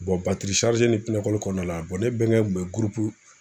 batiri ni pinɛ kɔli kɔɔna la ne bɛnkɛ tun be gurupu